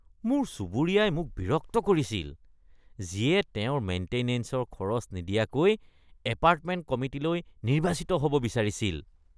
মোৰ চুবুৰীয়াই মোক বিৰক্ত কৰিছিল, যিয়ে তেওঁৰ মেইণ্টেনেঞ্চৰ খৰচ নিদিয়াকৈ এপাৰ্টমেণ্ট কমিটিলৈ নিৰ্বাচিত হ'ব বিচাৰিছিল।